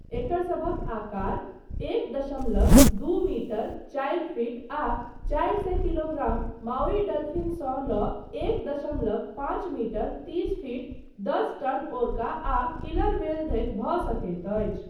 एकरसभक आकार एक दशमलव दू मीटर चारि फिट आ चारि सए किलोग्राम माउई डल्फिन सँ लऽ एक दशमलव पाँच मीटर तीस फिट दस टन ओर्का आ किलर व्हेल धरि भऽ सकैत अछि।